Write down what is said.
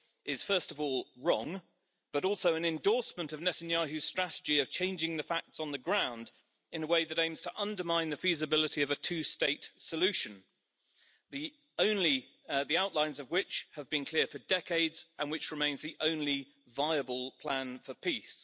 is first of all wrong but also an endorsement of Netanyahu's strategy of changing the facts on the ground in a way that aims to undermine the feasibility of a two state solution, the outlines of which have been clear for decades and which remains the only viable plan for peace.